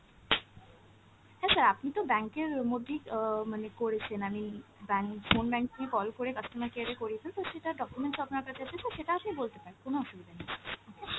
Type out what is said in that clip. হ্যাঁ sir আপনি তো bank এর মধ্যেই অ মানে করেছেন, আমি bank phone banking এ call করে customer care এ করিয়েছেন, তো সেটার documents ও আপনার কাছে আছে sir সেটা আপনি বলতে পারেন, কোন অসুবিধা নেই okay ।